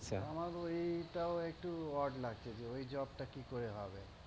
আমার এই টা ও একটু odd লাগছে যে ঐ job টা কি করে হবে।